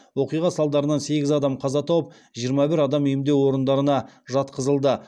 оқиға салдарынан сегіз адам қаза тауып жиырма бір адам емдеу орындарына жатқызылды